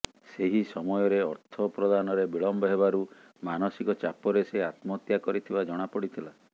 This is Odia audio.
ସେହି ସମୟରେ ଅର୍ଥ ପ୍ରଦାନରେ ବିଳମ୍ବ ହେବାରୁ ମାନସିକ ଚାପରେ ସେ ଆତ୍ମହତ୍ୟା କରିଥିବା ଜଣାପଡ଼ିଥିଲା